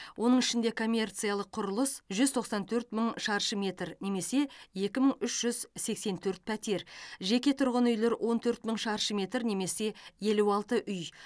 оның ішінде коммерциялық құрылыс жүз тоқсан төрт мың шаршы метр немесе екі мың үш жүз сексен төрт пәтер жеке тұрғын үйлер он төрт мың шаршы метр немесе елу алты үй